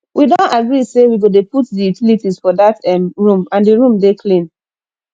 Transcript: we don agree say we go dey put the utilities for dat um room and the room dey clean